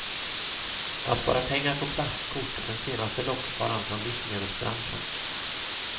Att spara pengar på plastkort är den senaste lockvaran från livsmedelsbranschen.